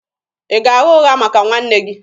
Ị ga-agha ụgha maka nwanne gị?